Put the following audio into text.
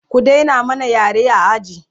ku Daina mana yare a aji!